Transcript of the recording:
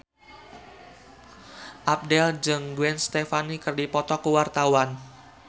Abdel jeung Gwen Stefani keur dipoto ku wartawan